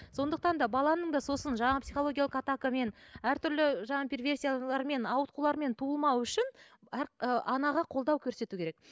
сондықтан да баланың да сосын жаңағы психологиялық атакамен әртүрлі жаңағы ауытқулармен туылмауы үшін әр ы анаға қолдау көрсету керек